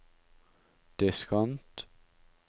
diskant